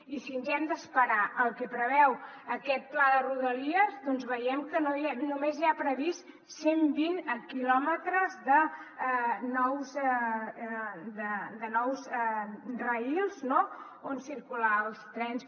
i si ens hem d’esperar al que preveu aquest pla de rodalies doncs veiem que només hi ha previstos cent vint quilòmetres de nous rails no on circular els trens